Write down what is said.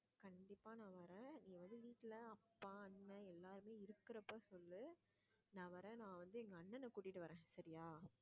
கண்டிப்பா நான் வர்றேன் நீ வந்து வீட்டுல அப்பா அண்ணன் எல்லாருமே இருக்கிறப்ப சொல்லு நான் வர்றேன் நான் வந்து எங்க அண்ணனை கூட்டிட்டு வர்றேன் சரியா